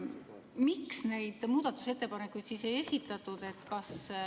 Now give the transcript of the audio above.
Miks neid muudatusettepanekuid ei esitatud?